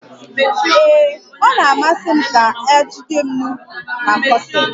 Ee, ọ na-amasi m ka a jide m n'ukwu na kọseti